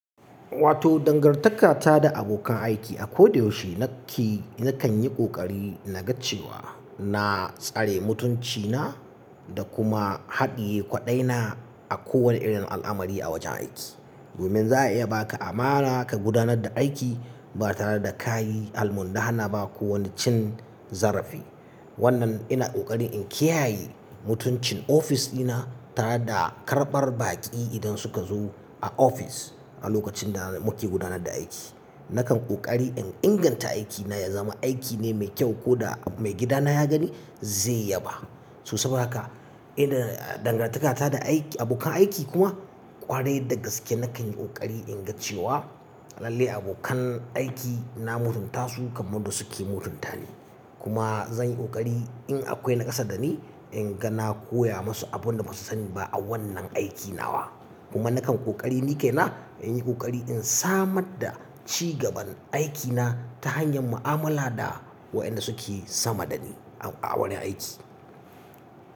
Wato dangantaka ta da abokan aiki. A ko da yaushe na ke, na kan yi ƙoƙari na gaccewa, na tsare mutuncina da kuma haɗiye kwaɗaina a kowane irin al'amari a wajen aiki. Domin za a iya ba ka amana ka gudanar da aiki ba tare da ka yi almundahana ba ko wani cin zarafi. Wannan ina kokari in kiyaye mutuncin ofis dina tare da karɓar baƙi idan suka zo a ofis a lokacin da muke gudanar da aiki. Nakan ƙoƙari in inganta aikina ya zama aiki ne mai kyau ko da maigidana ya gani zai yaba. So saboda haka, ina dangantaka ta da aiki, abokan aiki kuma ƙware dagaske. Nakan yi ƙoƙari in gaccewa lallai abokan aikina na mutunta su kamar da suke mutunta ni. Kuma zan yi ƙoƙari in akwai nakasa da ni, in ga na koya musu abin da ba su sani ba a wannan aikin nawa. Kuma nakan ƙoƙari ni kaina in yi ƙoƙari in samar da ci gaban aikina ta hanyar mu'amala da waɗanda suke sama da ni a wani aiki.